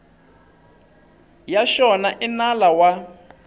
ya xona i nala wa